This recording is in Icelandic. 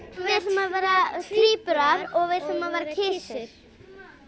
við ætlum að vera tvíburar eða kisur